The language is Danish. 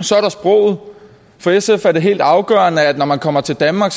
så er der sproget for sf er det helt afgørende at når man kommer til danmark